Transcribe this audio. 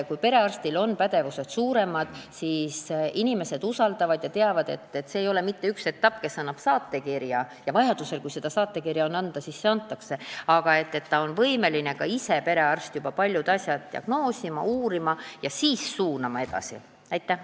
Kui perearstil on suurem pädevus, siis inimesed usaldavad teda ja nad teavad, et see ei ole mitte üks etapp, kus antakse saatekiri, kui seda on vaja anda, vaid perearst on võimeline ka ise juba paljusid asju uurima ja diagnoosima ning siis saab ta patsiendi edasi suunata.